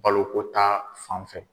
Baloko ta fan fɛ